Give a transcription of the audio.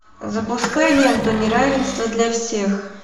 запускай ленту неравенство для всех